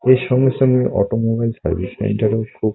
এর সঙ্গে সঙ্গে অটোমোবাইল সার্ভিস সেন্টারে খুব--